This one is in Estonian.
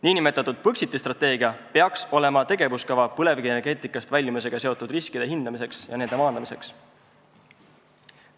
Niinimetatud Põxiti strateegia peaks olema tegevuskava põlevkivienergeetikast väljumisega seotud riskide hindamiseks ja nende maandamiseks.